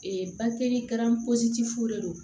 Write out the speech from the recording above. Ee fu de don